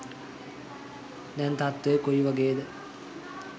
දැන් තත්ත්වය කොයි වගේද